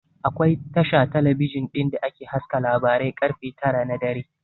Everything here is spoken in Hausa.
Akwai Tasha talabijin ɗin da ke haska labarai ƙarfe tara na dare